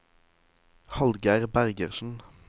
Hallgeir Bergersen